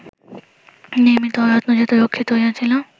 নির্মিত ও রত্নজাত রক্ষিত হইয়াছিল